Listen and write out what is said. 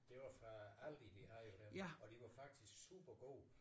Det var fra Aldi de havde dem og de var faktisk super gode